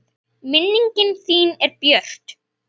Minning þín er björt.